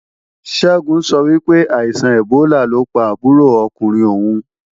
Ṣẹ́gun sọ wípé, àìsàn ẹ̀bólà ló pa àbúrò ọkùnrin òun